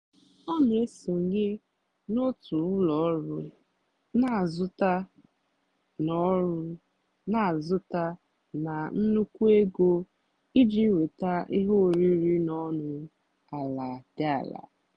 ọ́ nà-èsònyé n'ótù ụ́lọ ọ́rụ́ nà-àzụ́tá nà ọ́rụ́ nà-àzụ́tá nà nnùkwú égó ìjì nwétá íhé órírì nà ónú àlà dì àlà.